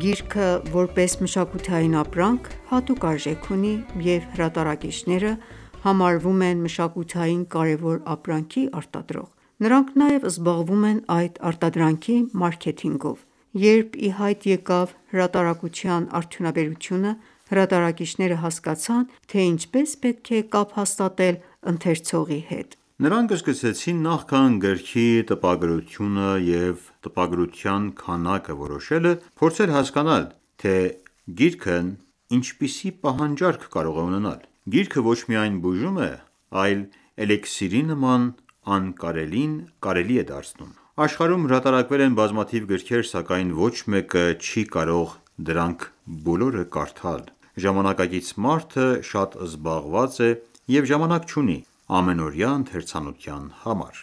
գիրքը որպես մշակութային ապրանք, հատուկ արժեք ունի և հրատարակիչները համարվում են մշակութային կարևոր ապրանքի արտադրող: Նրանք նաև զբաղվում են այդ արտադրանքի մարքեթինգով: Երբ ի հայտ եկավ հրատարակության արդյունաբերությունը, հրատարակիչները հասկացան, թե ինչպես պետք է կապ հաստատել ընթերցողի հետ: Նրանք սկսեցին նախքան գրքի տպագրությունը և տպագրության քանակը որոշելը, փորձել հասկանալ, թե գիրքն ինչպիսի պահանջարկ կարող է ունենալ: Գիրքը ոչ միայն բուժում է, այլ էլիկսիրի նման անկարելին կարելի է դարձնում: Աշխարհում հրատարակվել են բազմաթիվ գրքեր, սակայն ոչ մեկը չի կարող դրանք բոլորը կարդալ: Ժամանակակից մարդը շատ զբաղված է և ժամանակ չունի ամենօրյա ընթերցանության համար: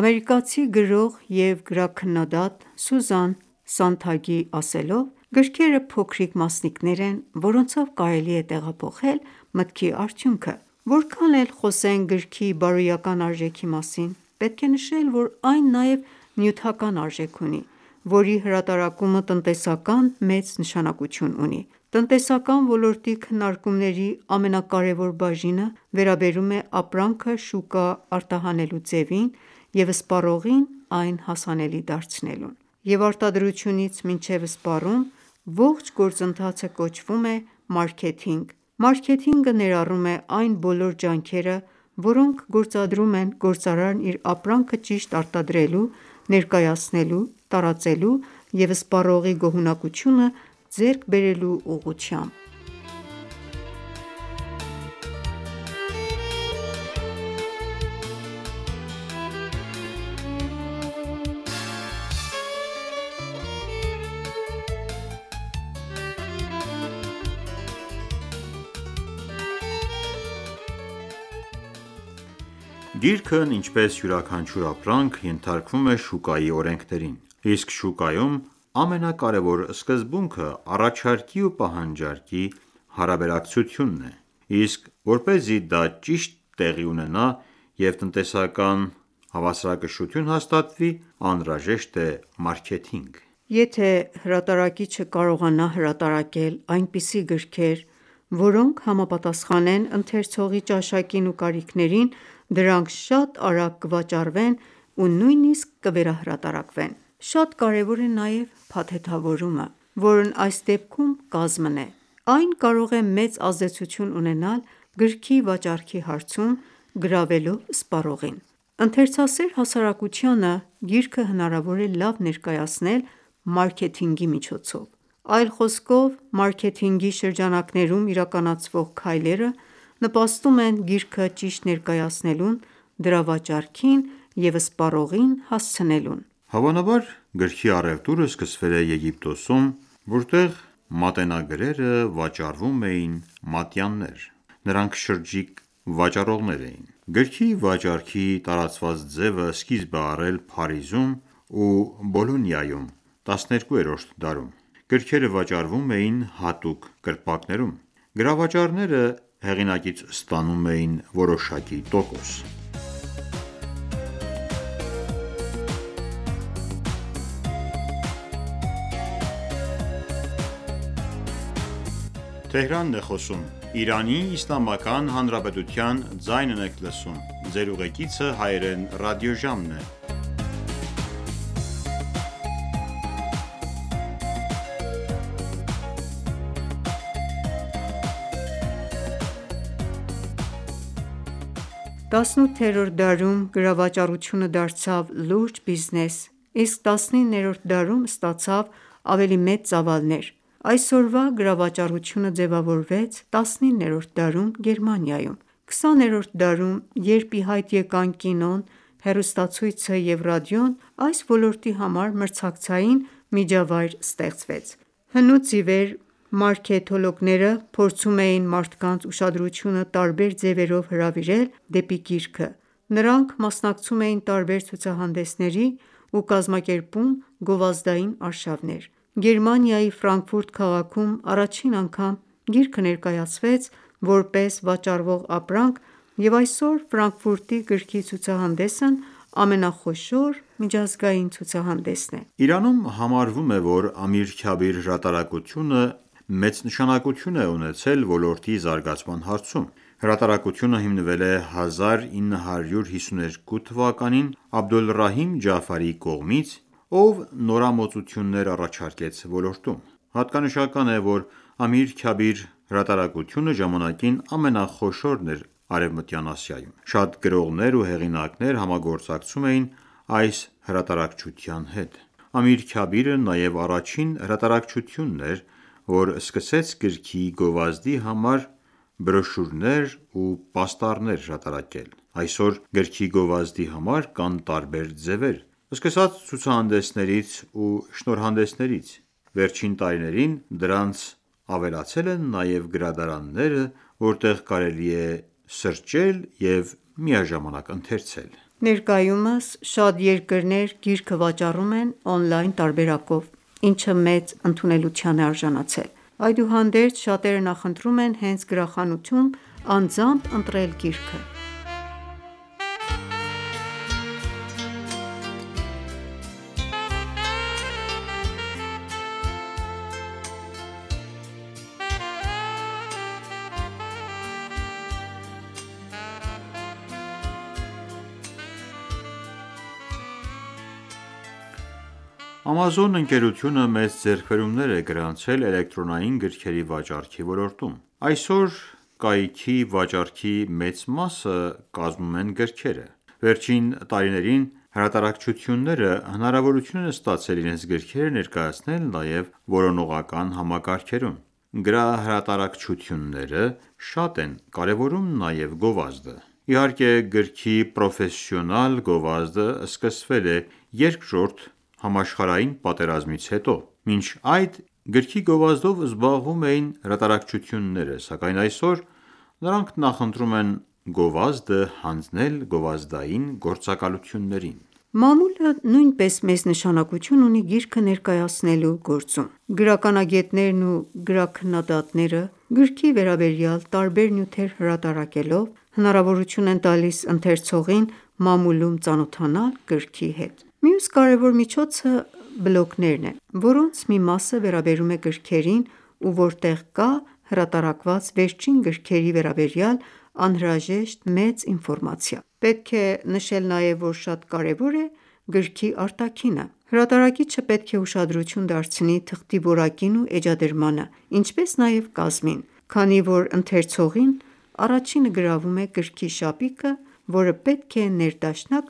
Ամերիկացի գրող և գրաքննադատ Սուզան Սանթագի ասելով, գրքերը փոքրիկ մասնիկներ են, որոնցով կարելի է տեղափոխել մտքի արդյունքը: Որքան էլ խոսենք գրքի բարոյական արժեքի մասին, պետք է նշել, որ այն նաև նյութական արժեք ունի, որի հրատարակումը տնտեսական մեծ նշանակությունի ունի: Տնտեսական ոլորտի քննարկումների ամենակարևոր բաժինը վերաբերում է ապրանքը շուկա արտահանելու ձևին և սպառողին այն հասանելի դարձնելուն: Եվ արտադրությունից մինչև սպառում, ողջ գործընթացը կոչվում է մարքեթինք: Մարքեթինգը ներառում է այն բոլոր ջանքերը, որոնք գործադրում է գործարարն իր ապրանքը ճիշտ արտադրելու, ներկայացնելու, տարածելու և սպառողի գոհունակությունը ձեռք բերելու ուղղությամբ: Գիրքն ինչպես յուրաքանչյուր ապրանք, ենթարկվում է շուկայի օրենքներին: Իսկ շուկայում ամենակարևոր սկզբունքը առաջարկի ու պահանջարկի հարաբերակցությունն է: Իսկ որպեսզի դա ճիշտ տեղի ունենա և տնտեսական հավասարակշռություն հաստատվի, անհրաժեշտ է մարքեթինգը: Եթե հրատարակիչը կարողանա հրատարակել այնպիսի գրքեր, որոնք համապատասխանեն ընթերցողի ճաշակին ու կարիքներին, դրանք շատ արագ կվաճառվեն ու նույնիսկ կվերահրատարակվեն: Շատ կարևոր է նաև փաթեթավորումը, որն այս դեպքում կազմն է: Այն կարող է մեծ ազդեցություն ունենալ գրքի վաճառքի հարցում, գրավելով սպառողին: Ընթերցասեր հասարակությանը գիրքը հնարավոր է լավ ներկայացնել մարքեթինգի միջոցով: Այլ խոսքով, մարքեթինգի շրջանակներում իրականացվող քայլերը նպաստում են գիրքը ճիշտ ներկայացնելուն, դրա վաճառքին և սպառողին հասցնելուն: Հավանաբար գրքի առևտուրը սկսվել է Եգիպտոսում, որտեղ մատենագրերը վաճառում էին մատյաններ: Նրանք շրջիկ վաճառողներ էին: Գրքի վաճառքի տարածված ձևը սկիզբ է առել Փարիզում ու Բոլոնիայում՝ 12-րդ դարում: Գրքերը վաճառվում էին հատուկ կրպակներում: Գրավաճառները հեղինակից ստանում էին որոշակի տոկոս: 18-րդ դարում գրավաճառությունը դարձավ լուրջ բիզնես, իսկ 19-րդ դարում ստացավ ավելի մեծ ծավալներ: Այսօրվա գրավաճառությունը ձևավորվեց 19-րդ դարում Գերմանիայում: 20-րդ դարում, երբ ի հայտ եկան կինոն, հեռուստացույցը և ռադիոն, այս ոլորտի համար մրցակցային միջավայր ստեղծվեց: Հնուց ի վեր, մարքեթոլոգները փորձում էին մարդկանց ուշադրությունը տարբեր ձևերով հրավիրել դեպի գիրքը: Նրանք մասնակցում էին տարբեր ցուցահանդեսների ու կազմակերպում գովազդային արշավներ: Գերմանիայի Ֆրանկֆուրտ քաղաքում առաջին անգամ գիրքը ներկայացվեց որպես վաճառվող ապրանք և այսօր գրքի ցուցահանդեսն ամենախոշոր միջազգային ցուցահանդեսն է: Իրանում համարվում է, որ Ամիր Քյաբիր հրատարակությունը մեծ նշանակություն է ունեցել ոլորտի զարգացման հարցում: Հրատարակությունը հիմնվել է 1952թ. Աբդոլռահիմ կողմից ,ով նորամուծություններ առաջարկեց ոլորտում: Հատկանշական է, որ Ամիր Քյաբիր հրատարակությունը ժամանակին ամենախոշորն էր Արևմտյան Ասիայում: Շատ գրողներ ու հեղինակներ համագործակցում էին այս հրատարակչության հետ: Ամիր Քյաբիրը նաև առաջին հրատարակչությունն էր, որ սկսեց գրքի գովազդի համար բրյոշուրներ ու պաստառներ հրատարակել: Այսօր գրքի գովազդի համար կան տարբեր ձևեր, սկսած ցուցահանդեսներից ու շնորհանդեսներից: Վերջին տարիներին դրանց ավելացել են նաև գրադարանները, որտեղ կարելի է սրճել և միաժամանակ ընթերցել: Ներկայումս շատ երկրներ գիրքը վաճառում են օնլայն տարբերակով, ինչը մեծ ընդունելության է արժանացել: Այդուհանդերձ, շատերը նախընտրում են հենց գրախանութում, անձամբ ընտրել գիրքը: Amazon ընկերությունը մեծ ձեռքբերումներ է գրանցել էլեկտրոնային գրքերի վաճառքի ոլորտում: Այսօր կայքի վաճառքի մեծ մասը կազմում են գրքերը: Վերջին տարիներին հրատարակչությունները հնարավորություն են ստացել իրենց գրքերը ներկայացնել նաև որոնողական համակարգերում: Գրահրատարակչությունները շատ են կարևորում նաև գովազդը: Իհարկեկ գրքի պրոֆեսիոսնալ գովազդը սկսվել է Երկրորդ համաշխարհային պատերազմից հետո: Մինչ այդ գրքի գովազդով զբաղվում էին հրատարակչությունները, սակայն այսօր նրանք նախընտրում են գովազդը հանձնել գովազդային գործակալություններին: Մամուլը նույնպես մեծ նշանակություն ունի գիրքը ներկայացնելու գործում: Գրականագետներն ու գրաքննադատները, գրքի վերաբերյալ տարբեր նյութեր հրատարակելով, հնարավորություն են տալիս ընթերցողին մամուլում ծանոթանալ գրքի հետ: Մյուս կարևոր միջոցը բլոգներն են, որոնց մի մասը վերաբերվում է գրքերին ու որտեղ կա հրապատարակված վերջին գքրերի վերաբերյալ անհրաժեշտ մեծ ինֆորմացիա: Պետք է նշել նաև, որ շատ կարևոր է նաև գրքի արտաքինը: Հրատարակիչը պետք է ուշադրություն դարձնի թղթի որակին ու էջադրմանը, ինչպես նաև կազմին: Քանի որ ընթերցողին առաջինը գրավում է գրքի շապիկը որը պետք է ներդաշնակ